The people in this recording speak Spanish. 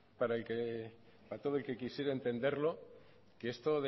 para todo el que quisiera entenderlo que esto